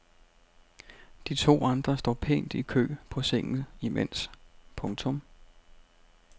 De to andre står pænt i kø på sengen imens. punktum